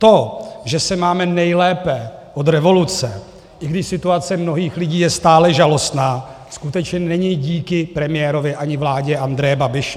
To, že se máme nejlépe od revoluce, i když situace mnohých lidí je stále žalostná, skutečně není díky premiérovi ani vládě Andreje Babiše.